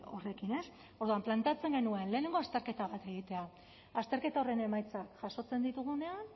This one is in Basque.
horrekin ez orduan planteatzen genuen lehenengo azterketa bat egitea azterketa horren emaitza jasotzen ditugunean